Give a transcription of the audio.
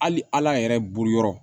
Hali a yɛrɛ bolo yɔrɔ